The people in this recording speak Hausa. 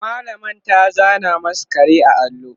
mallamar ta zana masu kare a allo